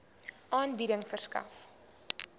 aanbieding verskaf